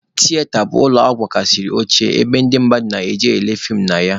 Tiyeta bụ ụlọ nwegasịrị oche ebe ndị mmadụ na-eje ele feem na ya.